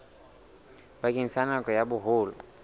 bakeng sa nako ya boholo